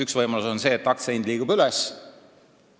Üks võimalus on see, et aktsia hind liigub üles.